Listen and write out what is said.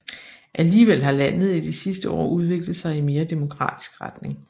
Alligevel har landet i de sidste år udviklet sig i mere demokratisk retning